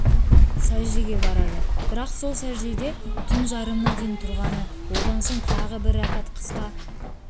сәждеге барады бірақ сол сәждеде түн жарымына дейін тұрғаны одан соң тағы бір рәкат қысқа